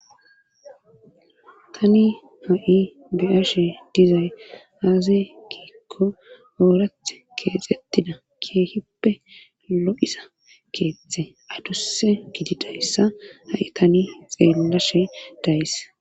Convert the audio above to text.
tani ha7i beyashe dizay aazay kiikko oorath keexettida keehippe lo7isa keeththe aduse gidi dayssa ha7i tani xeellashe days